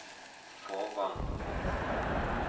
Fåvang